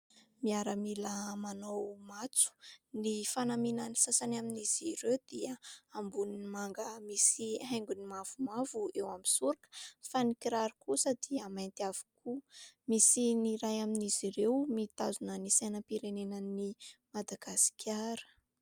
Miaramila manao matso ny fanamiana ny sasany amin'izy ireo dia amboniny manga misy haingon'ny mavomavo eo amin'ny sorika fa ny kiraro kosa dia mainty avokoa. Misy ny iray amin'izy ireo mitazona ny sainam-pirenena ny Madagasikara.